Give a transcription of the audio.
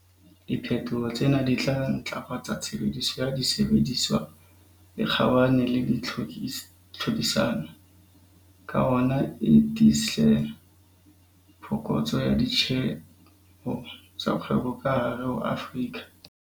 Di phetoho tsena di tla ntlafatsa tshebediso ya disebediswa e kgabane le tlhodisano, ka hona e tlise phokotso ya ditjeho tsa kgwebo ka hare ho Afrika